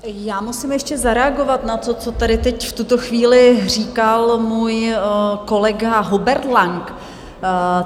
Já musím ještě zareagovat na to, co tady teď v tuto chvíli říkal můj kolega Hubert Lang.